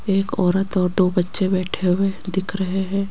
एक औरत और दो बच्चे बैठे हुए दिख रहे हैं।